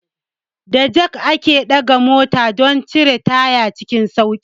Da jak ake ɗaga mota don cire taya cikin sauƙi.